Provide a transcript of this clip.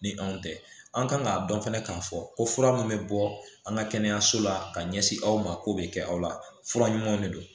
Ni anw tɛ an kan k'a dɔn fana k'a fɔ ko fura mun bɛ bɔ an ka kɛnɛyaso la ka ɲɛsin aw ma k'o bɛ kɛ aw la fura ɲumanw de don